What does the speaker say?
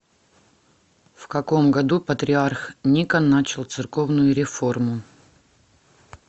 в каком году патриарх никон начал церковную реформу